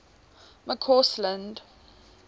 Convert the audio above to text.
mccausland